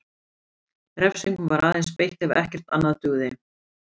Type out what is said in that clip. Refsingum var aðeins beitt ef ekkert annað dugði.